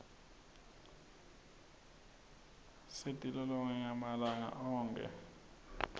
luibzingeka siti lolonge malanga onkhe